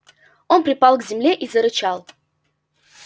он припал к земле и зарычал